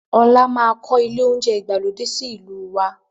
Ọlá máa kọ ilé oúnjẹ ìgbàlódé sì ìlú waa